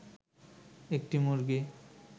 একটি মুরগি